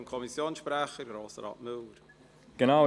Ich gebe dem Kommissionssprecher, Grossrat Müller, das Wort.